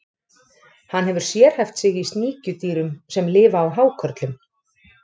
Hann hefur sérhæft sig í sníkjudýrum sem lifa á hákörlum.